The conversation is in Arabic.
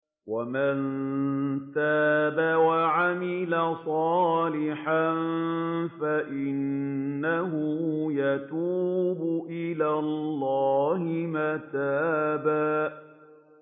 وَمَن تَابَ وَعَمِلَ صَالِحًا فَإِنَّهُ يَتُوبُ إِلَى اللَّهِ مَتَابًا